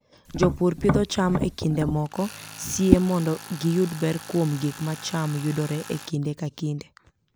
Jopur pidho cham e kinde moko sie mondo giyud ber kuom gik ma cham yudore e kinde ka kinde.